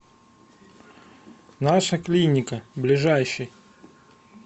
наша клиника ближайший